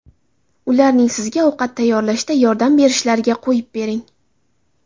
Ularning sizga ovqat tayyorlashda yordam berishlariga qo‘yib bering.